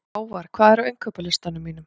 Hávarr, hvað er á innkaupalistanum mínum?